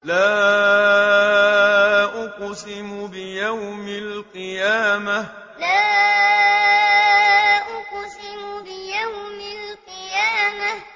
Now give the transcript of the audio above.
لَا أُقْسِمُ بِيَوْمِ الْقِيَامَةِ لَا أُقْسِمُ بِيَوْمِ الْقِيَامَةِ